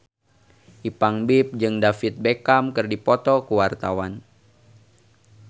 Ipank BIP jeung David Beckham keur dipoto ku wartawan